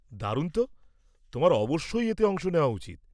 -দারুণ তো, তোমার অবশ্যই এতে অংশ নেওয়া উচিত।